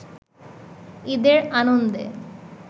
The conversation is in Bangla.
ঈদের আনন্দে